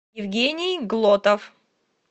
евгений глотов